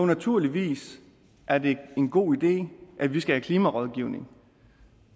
naturligvis er det en god idé at vi skal have klimarådgivning